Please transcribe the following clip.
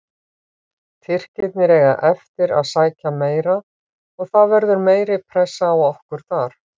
Tyrkirnir eiga eftir að sækja meira og það verður meiri pressa á okkur þar.